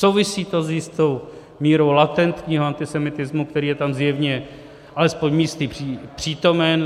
Souvisí to s jistou mírou latentního antisemitismu, který je tam zjevně alespoň místy přítomen.